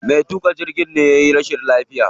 Me tuƙa jirgin ne yayi rashin lafiya.